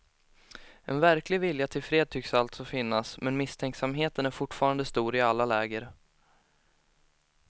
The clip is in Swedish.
En verklig vilja till fred tycks alltså finnas, men misstänksamheten är fortfarande stor i alla läger.